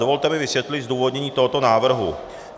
Dovolte mi vysvětlit zdůvodnění tohoto návrhu.